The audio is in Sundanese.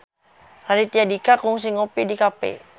Raditya Dika kungsi ngopi di cafe